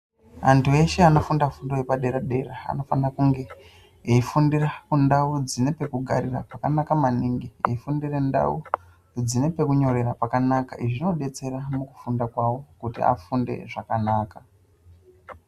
Antu eshe anofunda fundo yepadera-dera, anofana kunge eifundira kundau dzine pekugarira pakanaka maningi, veifundire ndau dzine pekunyorera, pakanaka. Izvi zvinodetsera mukufunda kwavo, kuti afunde zvakanaka.